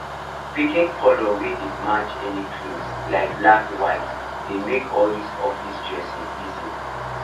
picking colour wey dey match any cloth like black white dey make all these office dressing easy